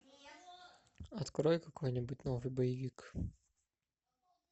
открой какой нибудь новый боевик